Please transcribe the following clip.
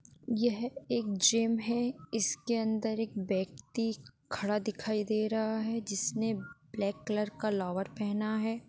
यह एक जिम है इसके अंदर एक व्यक्ति खड़ा दिखाई दे रहा है जीस ने ब्लैक कलर का लोवर पहना है।